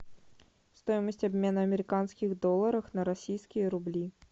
стоимость обмена американских долларов на российские рубли